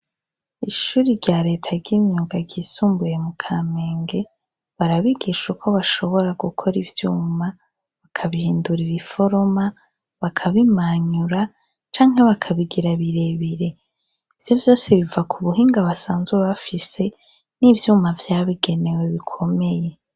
Ishuri rya leta ry'imyuga ryisumbuye mu Kamenge, barabigisha uko bashobora gukora ivyuma bakabihindurarira iforoma, bakabimanyura canke bakabigira birebire. Ivyo vyose biva ku buhinga basanzwe bafise n'ivyuma vyabigenewe bikomeye.